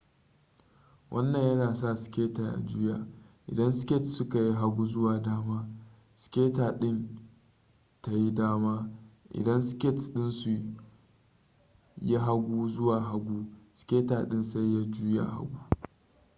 wannan yana sa skater ya juya idan skates suka yi hagu zuwa dama skater din tayi dama idan skates dinsu yi hagu zuwa hagu skater din sai ya juya hagu